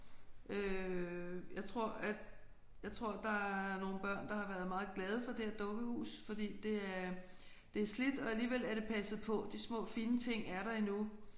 Øh jeg tror at jeg tror der er nogle børn der har været meget glade for det her dukkehus fordi det er det er slidt og alligevel er det passet på. De små fine ting er der endnu